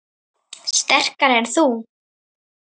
Sterkari en þú?